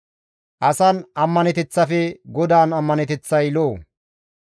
Asan ammaneteththafe GODAAN ammaneteththay lo7o.